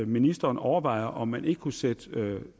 ministeren overvejer om man ikke kunne sætte